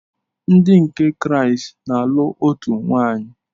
Ndi nke Kraịst na-alụ otu nwaanyị.